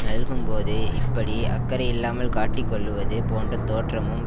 நல்கும்போது இப்படி அக்கறை இல்லாமல் காட்டிக் கொள்ளுவது போன்ற தோற்றம்